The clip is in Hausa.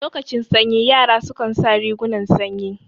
Lokacin sanyi yara su kan sa rigunan sanyi